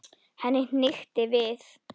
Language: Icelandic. Henni hnykkti við.